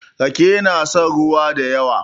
rake yana son ruwa da yawa